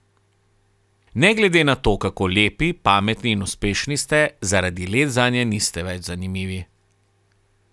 Ne glede na to, kako lepi, pametni in uspešni ste, zaradi let zanje niste več zanimivi.